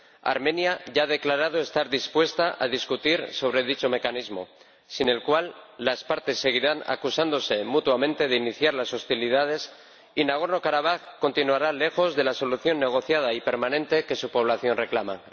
Armenia ya ha declarado estar dispuesta a dialogar sobre dicho mecanismo, sin el cual las partes seguirán acusándose mutuamente de iniciar las hostilidades y Nagorno-Karabaj continuará estando lejos de la solución negociada y permanente que su población reclama.